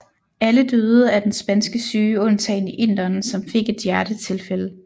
Alle døde af den spanske syge undtagen inderen som fik et hjertetilfælde